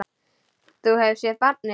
Þú hefur séð barnið?